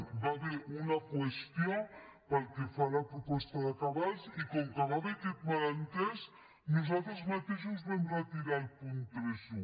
hi va haver una qüestió pel que fa a la proposta de cabals i com que hi va haver aquest malentès nosaltres mateixos vam retirar el punt trenta un